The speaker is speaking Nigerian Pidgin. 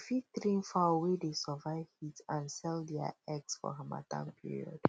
you fit train fowl wey dey survive heat and sell dia eggs for harmattan period